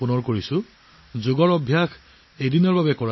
আমি যোগাসন মাত্ৰ এদিন অনুশীলন কৰিব নালাগে